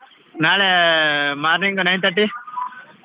ನಾಳೆ morning nine thirty .